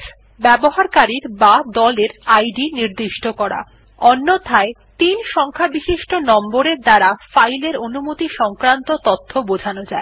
s ব্যবহারকারীর বা দলের ইদ নির্দিষ্ট করা অন্যথায় ৩ সংখ্যাbishisto নম্বর এর দ্বারা ফাইল এর অনুমনি সংক্রান্ত তথ্য বোঝানো যায়